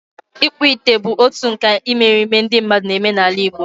Ịkpụ ite bụ otu nkà imerime ndị mmadụ na-eme n'ala Igbo.